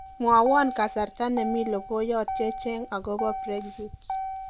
mwowon kasarta nemi logoyot checheng agobo brexit